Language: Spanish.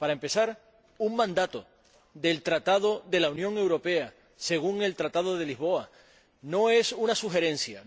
Para empezar, un mandato del Tratado de la Unión Europea —según el Tratado de Lisboa— no es una sugerencia.